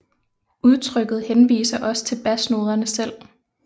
Udtrykket henviser også til basnoderne selv